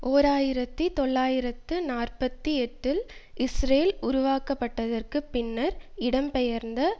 ஓர் ஆயிரத்தி தொள்ளாயிரத்து நாற்பத்தி எட்டில் இஸ்ரேல் உருவாக்கப்பட்டதற்குப் பின்னர் இடம் பெயர்ந்த